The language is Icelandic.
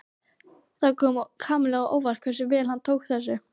Það kom Kamillu á óvart hversu vel hann tók þessu.